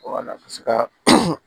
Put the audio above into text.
Wala bɛ se ka